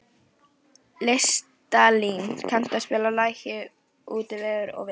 Listalín, kanntu að spila lagið „Út í veður og vind“?